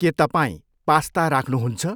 के तपाईँ पास्ता राख्नुहुन्छ?